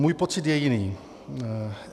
Můj pocit je jiný.